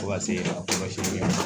Fo ka se a kɔlɔsili ma